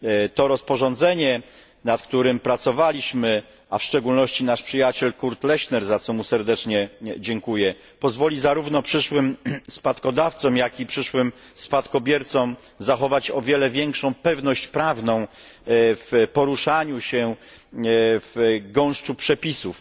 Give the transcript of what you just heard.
To rozporządzenie, nad którym my pracowaliśmy, a w szczególności nasz przyjaciel Kurt Lechner za co mu serdecznie dziękuję, pozwoli zarówno przyszłym spadkodawcom, jak i przyszłym spadkobiercom zachować o wiele większą pewność prawną w poruszaniu się w gąszczu przepisów.